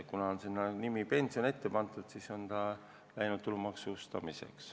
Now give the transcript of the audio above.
Kuna seal sees on sõna "pension", siis on ta läinud tulumaksustamisele.